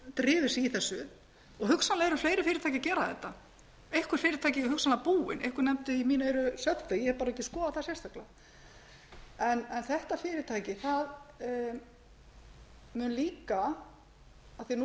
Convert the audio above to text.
hafa drifið í þessu og hugsanlega eru fleiri fyrirtæki að gera þetta einhver fyrirtæki eru hugsanlega búin einhver nefndi í mín eyru ég hef bara ekki skoðað það sérstaklega en þetta fyrirtæki mun líka af því að nú